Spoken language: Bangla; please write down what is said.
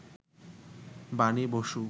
বাণী বসু